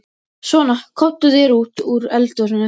Svona, komdu þér út úr eldhúsinu.